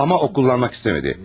Amma o kullanmak istəmədi.